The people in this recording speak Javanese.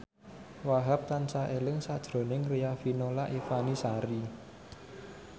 Wahhab tansah eling sakjroning Riafinola Ifani Sari